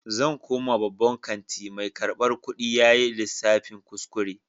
Zan koma babban kanti, mai karbar kudi yayi lissafin kuskure.